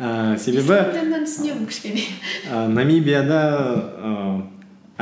ііі түсінемін кішкене ііі намибияда ііі